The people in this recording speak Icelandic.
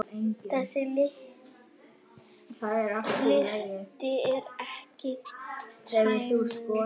Þessi listi er ekki tæmandi